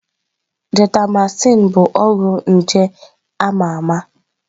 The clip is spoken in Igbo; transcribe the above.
Gentamaịsin bụ ọgwụ nje a ma ama.